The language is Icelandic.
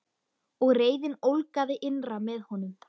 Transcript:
Og reiðin ólgaði innra með honum.